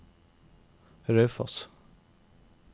Raufoss